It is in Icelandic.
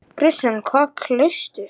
Kristján: Hvað kaustu?